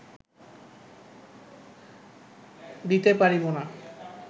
দিতে পারিব না